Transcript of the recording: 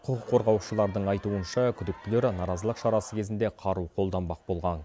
құқық қорғаушылардың айтуынша күдіктілер наразылық шарасы кезінде қару қолданбақ болған